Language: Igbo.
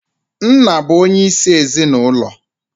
Nna bu onye isi ezinụlọ